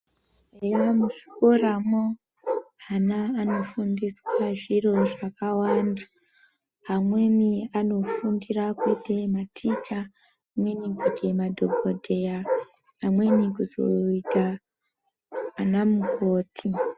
Eya muzvikoramo ana anofundiswa zviro zvakawanda, amweni anofundira kuyite maticha, amweni kuzoyita madhokodheya, amweni kuzoyita anamukoti.